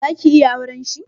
Zaki iya auren shi?